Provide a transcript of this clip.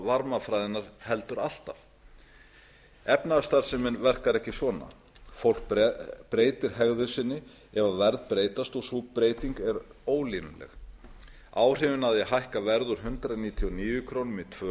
varmafræðinnar heldur alltaf efnahagsstarfsemin verkar ekki svona fólk breytir hegðun sinni ef verð breytast og sú breyting er ólínuleg áhrifin af því að hækka verð úr hundrað níutíu og níu krónur í tvö